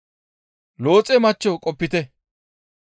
Looxe machcho qopite.